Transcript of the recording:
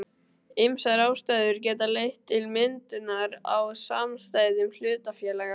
Ýmsar ástæður geta leitt til myndunar á samstæðum hlutafélaga.